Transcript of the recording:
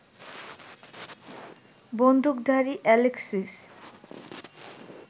বন্দুকধারী অ্যালেক্সিস